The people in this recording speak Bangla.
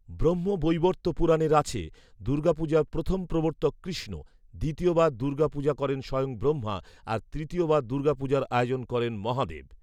ব্রহ্মবৈবর্ত পুরাণে আছে, দুর্গা পূজার প্রথম প্রবর্তক কৃষ্ণ, দ্বিতীয় বার দূর্গা পূজা করেন স্বয়ং ব্রহ্মা আর তৃতীয়বার দূ্র্গা পূজার আয়োজন করেন মহাদেব